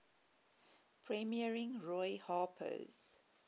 premiering roy harper's